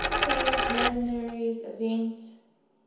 spain's linares event